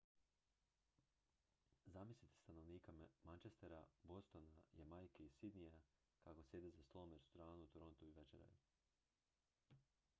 zamislite stanovnika manchestera bostona jamajke i sydneya kako sjede za stolom u restoranu u torontu i večeraju